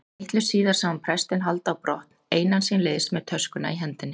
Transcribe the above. Litlu síðar sá hann prestinn halda á brott einan síns liðs með töskuna í hendinni.